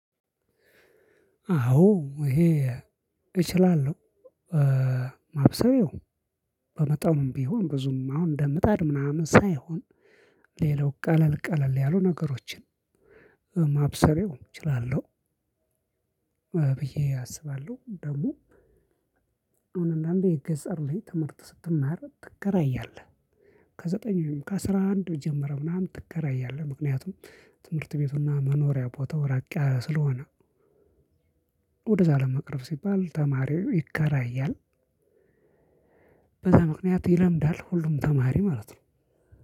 አዎ ይሄ እችላለሁ። ማብሰል ያው በመጠኑም ቢሆን ብዙም አሁን በምጣድ ምናምን ሳይሆን። ሌላው ቀለል ቀለል ያሉ ነገሮችን ማብሰል ያው እችላለሁ። ብዬ አስባለሁ ደግሞ አሁን አንዳንዴ የገጠር ላይ ትምህርት ስትማር ትከራያለህ። ከዘጠኝ ወይም ከአስራ አንድ ጀምሮ ምናምን ትከራያለህ ምክንያቱም ትምህርት ቤቱና መኖሪያ ቦታው ራቅ ያለ ስለሆነ። ወደዛ ለመቅረብ ሲባል ተማሪው ይከራያል። በዛ ምክንያት ይለምዳል ሁሉም ተማሪ ማለት ነው።